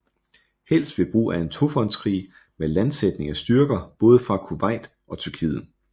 Helst ved brug af en tofronts krig med landsætning af styrker både fra Kuwait og Tyrkiet